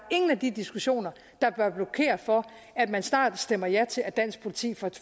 ingen af de diskussioner der bør blokere for at man snart stemmer ja til at dansk politi